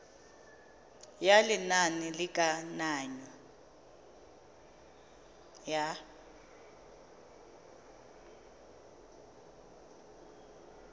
ya lenane la kananyo ya